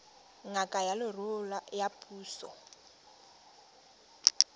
ngaka ya leruo ya puso